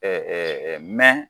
mɛn